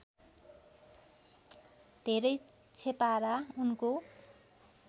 धेरै छेपारा उनको